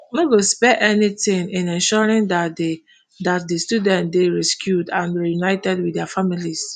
no go spare anything in ensuring dat di dat di students dey rescued and reunited wit dia families